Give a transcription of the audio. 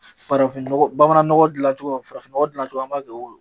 Farafin nɔgɔ bamanan nɔgɔ dilan cogo, farafin nɔgɔ dilan cogo an b'a kɛ o don.